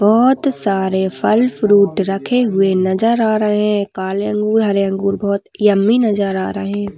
बहुत सारे फल फ्रूट रखे हुए नजर आ रहे है काले अंगूर हरे अंगूर बहुत यम्मी नजर आ रहे है।